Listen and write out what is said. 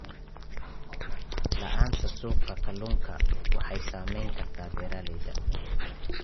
La'aanta suuqa kalluunka waxay saameyn kartaa beeralayda.